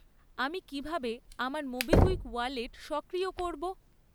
আমি কী ভাবে আমার মোবিকুইক ওয়ালেট সক্রিয় করব?